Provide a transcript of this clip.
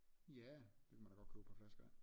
Ja det kunne man da godt købe et par flasker af